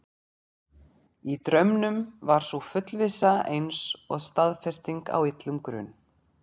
Í draumnum var sú fullvissa eins og staðfesting á illum grun.